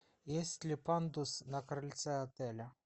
есть ли пандус на крыльце отеля